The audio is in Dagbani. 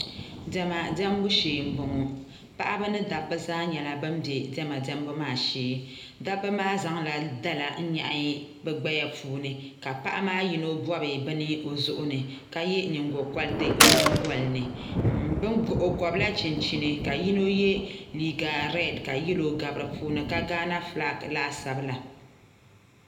Diɛma diɛmbu shee n boŋo paɣaba ni dabba zaaha nyɛla ban bɛ diɛma diɛmbu ŋo shee dabba maa zaŋla dala n nyaɣi bi gbaya ŋo puuni ka paɣa maa yino bob bini o zuɣu ni ka yɛ nyingokoriti o nyingoli ni o gobla chinchini ka yino yɛ liiga reed ka yɛlo gabi di puuni ka gaana fulak laasabu la